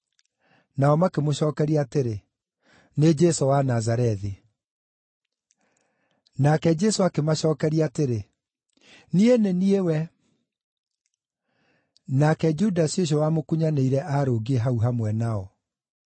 Nao makĩmũcookeria atĩrĩ, “Nĩ Jesũ wa Nazarethi.” Nake Jesũ akĩmacookeria atĩrĩ, “Niĩ nĩ niĩ we.” (Nake Judasi ũcio wamũkunyanĩire aarũngiĩ hau hamwe nao.)